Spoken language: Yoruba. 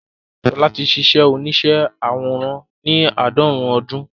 Ṣọlá ti ṣíṣe oníṣẹ́ àwòrán ní àádọ́rùn-ún ọdún